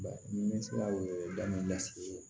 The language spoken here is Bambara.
Ba ni ne sera o ye da ni lasigi ye